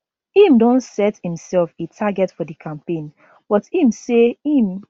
im don set imsef a target for di campaign but im say im